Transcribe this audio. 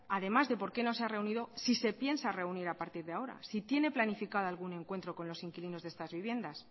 además de por qué no se ha reunido si se piensa reunir a partir de ahora si tiene planificado algún encuentro con los inquilinos de estas viviendas